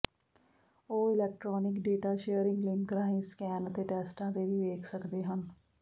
ਉਹ electronic data sharing link ਰਾਹੀਂ scan ਅਤੇ ਟੈਸਟਾਂ ਤੇ ਵੀ ਵੇਖ ਸਕਦੇ ਹਨ